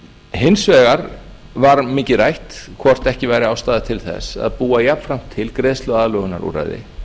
hins vegar var mikið rætt hvort ekki væri ástæða til þess að búa jafnframt til greiðsluaðlögunarúrræði